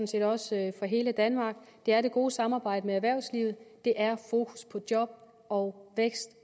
set også for hele danmark det er det gode samarbejde med erhvervslivet det er fokus på job og vækst